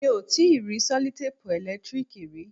Mi ò tíì rí sẹlotẹ́pù ẹ̀lẹ́tíríìkì rí.